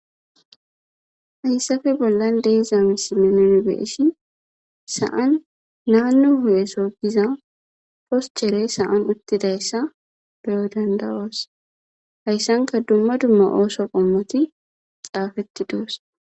Hayssafe bollan deezamisimenen beesi sa'an naannu hu'eso giza poschere saan uttidayssa beyo dandawas hayssanka dumma dumma ooso qommoti xaafetti duos.